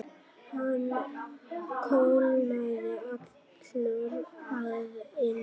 Hann kólnaði allur að innan.